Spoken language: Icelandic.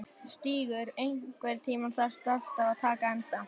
Stígur, einhvern tímann þarf allt að taka enda.